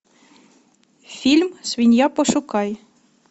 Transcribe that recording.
фильм свинья пошукай